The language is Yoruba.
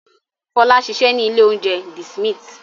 Fọlá ń ṣiṣẹ́ ní ilé-oúnjẹ The Smith.